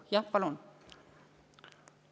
Jah, palun!